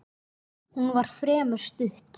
Hún var fremur stutt.